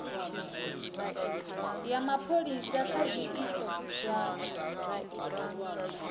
ya mapholisa kha zwiito zwa